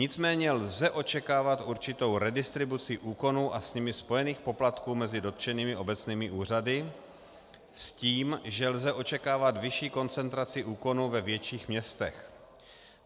Nicméně lze očekávat určitou redistribuci úkonů a s nimi spojených poplatků mezi dotčenými obecními úřady s tím, že lze očekávat vyšší koncentraci úkonů ve větších městech.